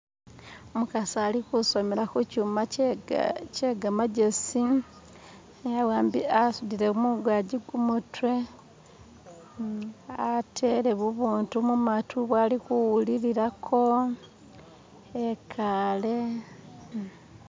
Umukasi ali kusomela kuchuma che gamagezi, asudile mungaji gumutwe, atele bubutu mamatu bwali kuwulilako ekale.